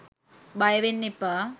බයවෙන්න එපා.